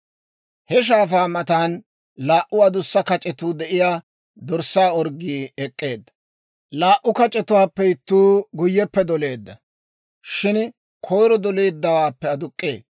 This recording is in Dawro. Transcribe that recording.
He shaafaa matan laa"u adussa kac'etuu de'iyaa dorssaa orggii ek'k'eedda. Laa"u kac'etuwaappe ittuu guyyeppe doleedda; shin koyiro doleedawaappe aduk'k'ee.